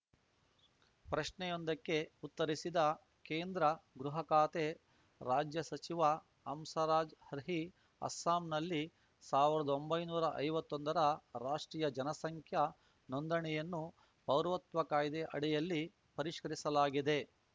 ಪ್ರಶ್ನೆಯೊಂದಕ್ಕೆ ಉತ್ತರಿಸಿದ ಕೇಂದ್ರ ಗೃಹ ಖಾತೆ ರಾಜ್ಯಸಚಿವ ಹಂಸರಾಜ್‌ ಅರ್ಹಿ ಅಸ್ಸಾಂನಲ್ಲಿ ಸಾವಿರ್ದೊಂಭೈನೂರಾ ಐವತ್ತೊಂದರ ರಾಷ್ಟ್ರೀಯ ಜನಸಂಖ್ಯಾ ನೋಂದಣಿಯನ್ನು ಪೌರತ್ವ ಕಾಯ್ದೆಯ ಅಡಿಯಲ್ಲಿ ಪರಿಷ್ಕೃರಿಸಲಾಗಿದೆ